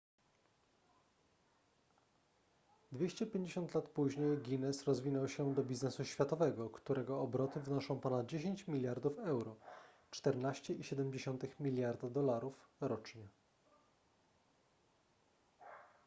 250 lat później guinness rozwinął się do biznesu światowego którego obroty wynoszą ponad 10 miliardów euro 14,7 miliarda dolarów rocznie